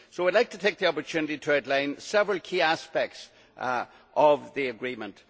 I would like to take this opportunity to outline several key aspects of the agreement.